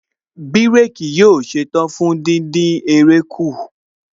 Bírèkì yóò ṣetán fún díndín eré kù